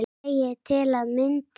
segir til að mynda